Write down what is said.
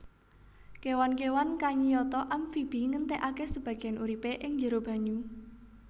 Kéwan kéwan kayata amfibi ngentèkaké sebagéyan uripé ing njero banyu